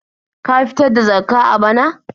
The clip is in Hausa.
Ka fitar da Zakkah a bana?